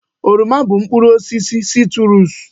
Oroma bụ mkpụrụ osisi sitruusu.